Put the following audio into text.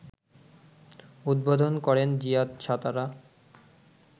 উদ্বোধন করেন জিয়াদ সাতারা